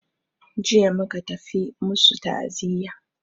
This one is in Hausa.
Jiya muka tafi masu ta'aziya.